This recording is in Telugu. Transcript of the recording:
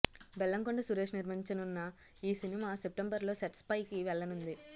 బెల్లంకొండ సురేష్ నిర్మించనున్న ఈ సినిమా సెప్టెంబర్ లో సెట్స్ పైకి వెళ్లనుంది